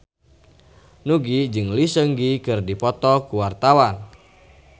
Nugie jeung Lee Seung Gi keur dipoto ku wartawan